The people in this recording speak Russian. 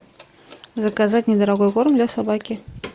заказать недорогой корм для собаки